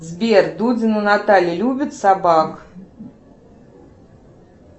сбер дудина наталья любит собак